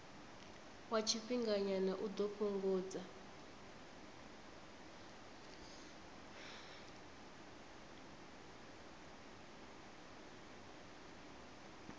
wa tshifhinganyana u ḓo fhungudza